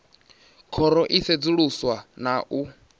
khoro i sedzuluswa na u